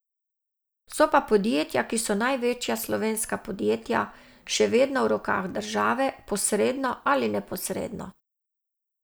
So pa podjetja, ki so največja slovenska podjetja, še vedno v rokah države, posredno ali neposredno.